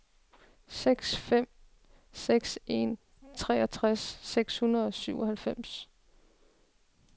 seks fem seks en treogtres seks hundrede og syvoghalvfems